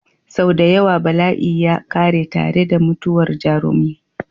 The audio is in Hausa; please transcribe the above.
Sau da yawa bala'i ya ƙare tare da mutuwar jarumin.